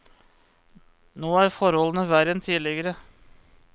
Nå er forholdene verre enn tidligere.